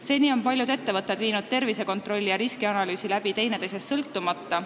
Seni on paljud ettevõtted viinud tervisekontrolli ja riskianalüüsi läbi teineteisest sõltumata.